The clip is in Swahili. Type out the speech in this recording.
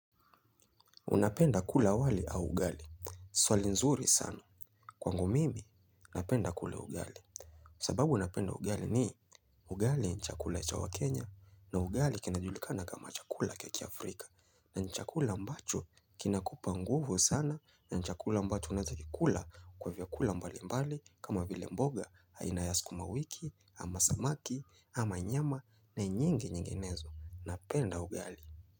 Unapenda kula wali au ugali? Swali nzuri sana. Kwangu mimi, napenda kula ugali. Sababu napenda ugali ni ugali ni chakula cha waKenya na ugali kinajulikana kama chakula cha kiAfrika. Na ni chakula ambacho kinakupa nguvu sana na ni chakula ambacho unaeza kikula kwa vyakula mbali mbali kama vile mboga aina ya sukuma wiki ama samaki ama nyama na nyingi nyinginezo. Napenda ugali.